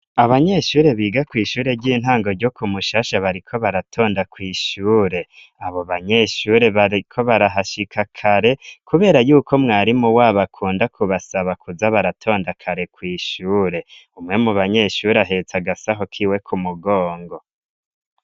Abanyeshure biga kw'ishure ry'intango ryo ku mushasha bariko baratonda kwishure abo banyeshure, bariko barahashika kare, kubera yuko mwari mu wabo akunda kubasaba kuza baratonda kare kwishure, umwe mu banyeshuri ahetsa agasaho kiwe ku mugongo.